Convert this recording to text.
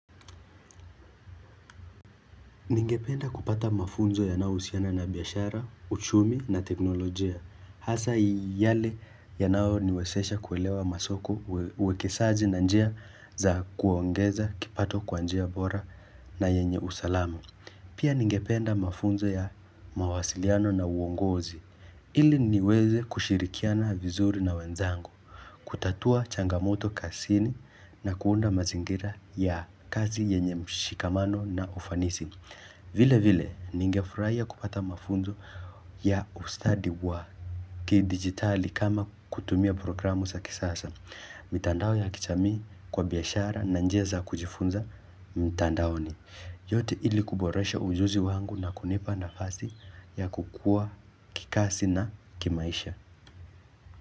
Ningependa kupata mafunzo yanaouhusiana na biashara, uchumi na teknolojia. Hasa yale yanayoniwezesha kuelewa masoko uwekesaji na njia za kuongeza kipato kwa njia bora na yenye usalamu. Pia ningependa mafunzo ya mawasiliano na uongozi. Ili niweze kushirikiana vizuri na wenzangu, kutatua changamoto kazini na kuunda mazingira ya kazi yenye mshikamano na ufanisi. Vile vile, ningefurahia kupata mafunzo ya ustadi wa kidijitali kama kutumia programu za kisasa. Mitandao ya kijamii kwa biashara na njia za kujifunza mitandaoni. Yote ili kuboresha ujuzi wangu na kunipa nafasi ya kukua kikazi na kimaisha.